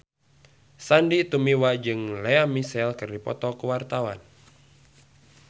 Sandy Tumiwa jeung Lea Michele keur dipoto ku wartawan